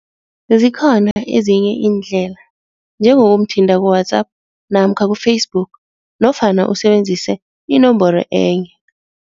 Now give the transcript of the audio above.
Zikhona ezinye iindlela, njengokumthinta ku-WhatsApp namkha ku-Facebook nofana usebenzise inomboro enye.